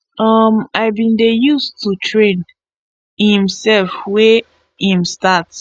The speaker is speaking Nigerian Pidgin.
um im bin dey use to train imsef wen im start